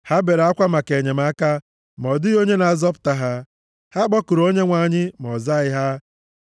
Ha bere akwa maka enyemaka, ma ọ dịghị onye na-azọpụta ha. Ha kpọkuru Onyenwe anyị, ma ọ zaghị ha.